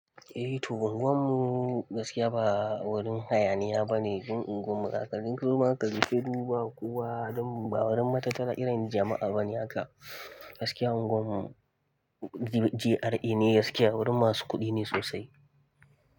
Eh to unguwar mu gaskiya ba wurin hayaniya bane, duk unguwar makakarin zuma, ƙasancewar duba kuwa ba wurin matatar irin jama'a bane haka. Gaskiya anguwar mu G.R.A neh, wurin ma su kuɗi ne sosai.